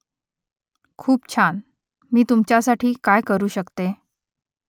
खूप छान . मी तुमच्यासाठी काय करू शकते ?